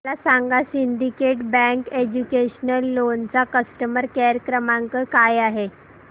मला सांगा Syndicate Bank educational loan चा कस्टमर केअर क्रमांक काय आहे